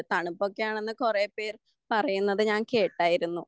തണുപ്പ് ഒക്കെ ആണെന്ന് കുറേ പേർ പറയുന്നത് ഞാൻ കേട്ടായിരുന്നു.